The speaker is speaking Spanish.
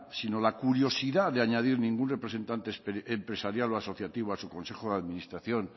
sino la curiosidad de añadir ningún representante empresarial o asociativo a su consejo de administración